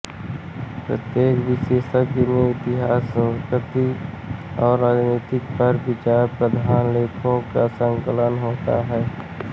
प्रत्येक विशेषांक में इतिहास संस्कृति और राजनीति पर विचारप्रधान लेखों का संकलन होता है